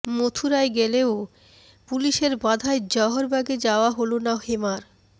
মথুরায় গেলেও পুলিশের বাধায় জওহরবাগে যাওয়া হল না হেমার